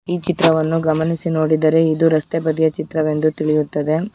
ಈ ಚಿತ್ರವನ್ನು ಗಮನಿಸಿ ನೋಡಿದರೆ ಇದು ರಸ್ತೆ ಬದಿಯ ಚಿತ್ರವೆಂದು ತಿಳಿಯುತ್ತದೆ.